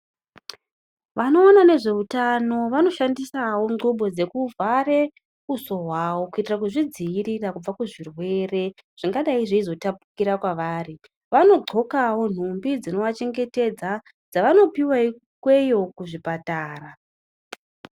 Vanoona nezveutano vanoshandisawo nthubo dzekuvhare uso hwawo kuita kuzvidzivirira kubve kuzvirwere zvingadai zveizotapukira pavari vanodxokawo nhumbi dzinovachengetedza dzavanopuwe ikweyo kuzvipatara.